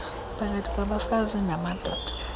phakathi kwabafazi namadoda